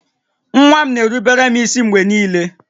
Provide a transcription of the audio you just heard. Nwa m na-erubere m ísí mgbe niile